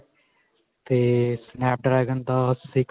ਤੇ snap dragon ਦਾ six .